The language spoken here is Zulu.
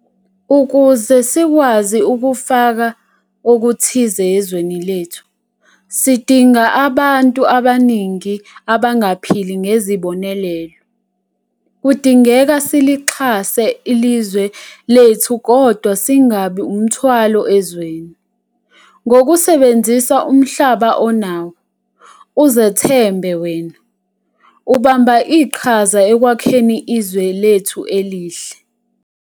Ukuze sikwazi ufaka okuthize ezweni lethu, sidinga abantu abaningi abangaphili ngezibonelelo - kudingeka silixhase ezwe lethu kodwa singabi umthwalo ezweni. Ngokusebenzisa umhlaba onawo, uzethembe wena, ubamba iqhaza ekwakheni izwe lethu elihle.